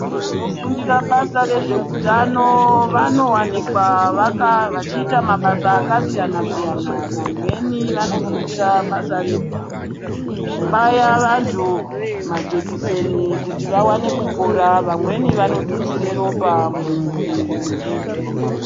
Vanofundire mabasa ezveutano vanowanikwa vachiita mabasa akasiyana siyana. Vamweni vanofundira basa rekubaya vantu majekiseni kuti vawane kupora vamweni vanotutsire ropa mumuiri wemuntu.